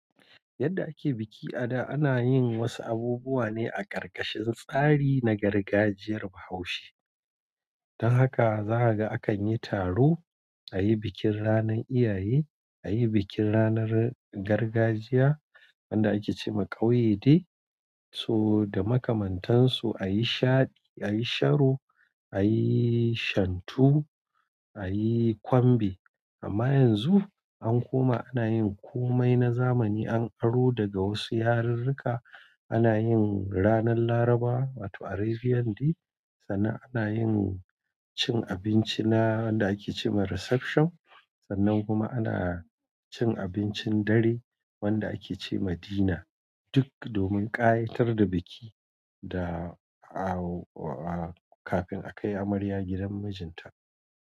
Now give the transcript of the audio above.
Yadda ake biki a da, ana yin wasu abubuwa ne a ƙarƙashin tsari na gargajiyar. Bahaushe. Don haka, za ka ga akan yi taro, a yi bikin ranar iyaye, a yi bikin ranar gargajiya wanda ake ce ma "ƙauye day", so da makamantansu a yi shaɗi, a yi sharo, a yi shantu, a yi kwambe. Amma yanzu an koma ana yin komai na zamani. An aro daga wasu yarurruka. Ana yin ranar Larabawa, wato Arabian day, sannan ana yin cin abinci na wanda ake ce ma "Reception", sannan kuma ana cin abincin dare wanda ake ce ma "Dinner", duk domin ƙayatar da biki da a-a kafin a kai amarya gidan mijinta.